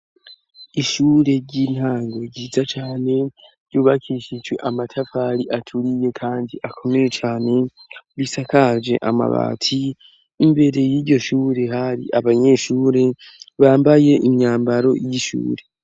Ishure ry'intango ryiza cane ryubakishijwe amatavari aturiye kandi akomeye cane, risakaje amabati, imbere y'iryo shure hari abanyeshure bambaye imyambaro y'ishure.